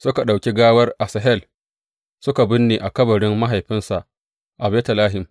Suka ɗauki gawar Asahel suka binne a kabarin mahaifinsa a Betlehem.